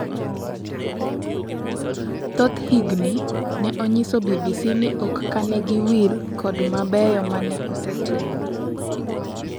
Thothhgi ne onyiso BBC ni ok kanegiwil kod mabeyo maneosetimo.